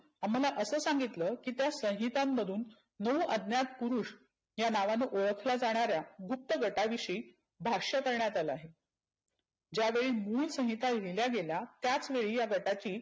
अम्हाला असं सांगितलं की त्या संहितांमधुन नऊ अज्ञात पुरुष या नावाने ओळखल्या जाणाऱ्या गुप्त गटाविषयी भाष्य करण्यात आलं आहे. ज्यावेळी मुळ संकिता लिहील्या गेल्या त्याच वेळी या गटाची